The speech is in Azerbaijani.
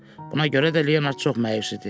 Buna görə də Leonard çox məyus idi.